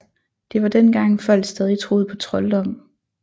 Det var dengang folk stadig troede på trolddom